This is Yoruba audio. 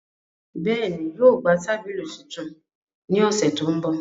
Bẹẹni, yóò gba tabili tuntun ni ọsẹ to nbọ.